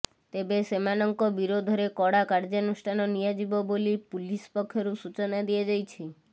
ତେବେ ସେମାନଙ୍କ ବିରୋଧରେ କଡ଼ା କାର୍ଯ୍ୟାନୁଷ୍ଠାନ ନିଆଯିବ ବୋଲି ପୁଲିସ ପକ୍ଷରୁ ସୂଚନା ଦିଆଯାଇଛି